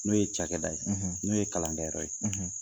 N'o ye cakɛda ye n'o ye kalankɛ yɔrɔ ye.